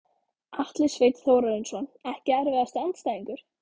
Atli Sveinn Þórarinsson Ekki erfiðasti andstæðingur?